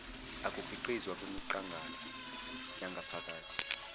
ukukhiqizwa kwemiqangala yangaphakathi